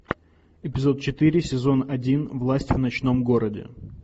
эпизод четыре сезон один власть в ночном городе